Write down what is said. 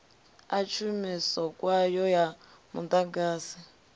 ḽa tshumiso kwayo ya muḓagasi